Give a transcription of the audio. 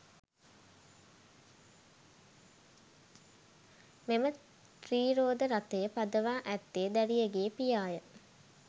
මෙම ත්‍රිරෝද රථය පදවා ඇත්තේ දැරියගේ පියාය.